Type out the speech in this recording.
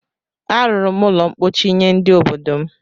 A rụrụ m ụlọ ḿkpóchí nye ndị obodo m